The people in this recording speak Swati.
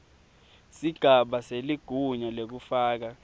sigaba seligunya lekufaka